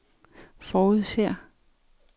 forudser